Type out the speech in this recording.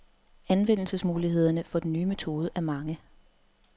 Anvendelsesmulighederne for den nye metode er mange.